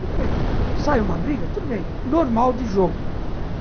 Tudo bem, sai uma briga, tudo bem, normal de jogo.